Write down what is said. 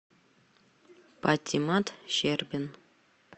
патимат щербин